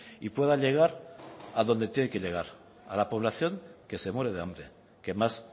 y pueda llegar a donde tiene que llegar a la población que se muere de hambre que más